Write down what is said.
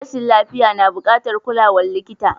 Rashin lafiya na bukatar kulawar likita.